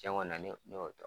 Cɛ kɔni na n' n y'o dɔn.